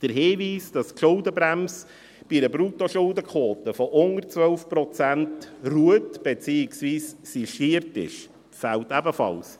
Der Hinweis, dass die Schuldenbremse bei einer Bruttoschuldenquote von unter 12 Prozent ruht, beziehungsweise sistiert ist, fehlt ebenfalls.